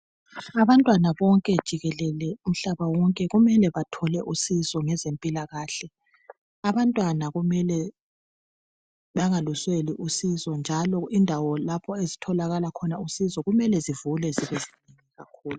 Abantwana bonke jikelele umhlaba wonke kumele bathole usizo ngezempilakahle. Abantwana kumele bangakusweli usizo njalo indawo lapho ezitholakala khona usizo kumele zivule